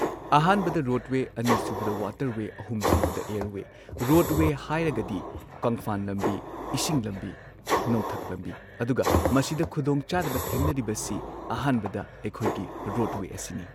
ꯑꯍꯥꯟꯕꯗ ꯔꯣꯗꯋꯦ, ꯑꯅꯤꯁꯨꯕꯗ ꯋꯥꯇꯔꯋꯦ, ꯑꯍꯨꯝꯁꯨꯕꯗ ꯑꯦꯔꯋꯦ ꯔꯣꯗꯋꯦ ꯍꯥꯏꯔꯒꯗꯤ ꯀꯪꯐꯥꯟ ꯂꯝꯕꯤ, ꯏꯁꯤꯡ ꯂꯝꯕꯤ ꯅꯣꯡꯊꯛ ꯂꯝꯕꯤ ꯑꯗꯨꯒ ꯃꯁꯤꯗ ꯈꯨꯗꯣꯡꯆꯥꯗꯕ ꯊꯦꯡꯅꯔꯤꯕꯁꯤ ꯑꯍꯥꯟꯕꯗ ꯑꯩꯈꯣꯏꯒꯤ ꯔꯣꯗꯋꯦ ꯑꯁꯤꯅꯤ꯫